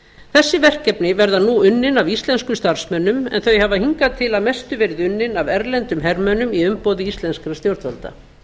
þessi verkefni verða nú unnin af íslenskum starfsmönnum en þau hafa hingað til að mestu verið unnin af erlendum hermönnum í umboði íslenskra stjórnvalda